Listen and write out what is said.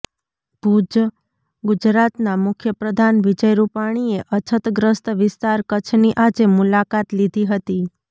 ભૂજઃ ગુજરાતના મુખ્યપ્રધાન વિજય રુપાણીએ અછતગ્રસ્ત વિસ્તાર કચ્છની આજે મુલાકાત લીધી હતી